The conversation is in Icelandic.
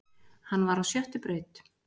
Hann var á sjöttu braut